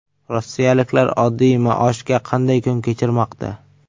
Rossiyaliklar oddiy maoshga qanday kun kechirmoqda?.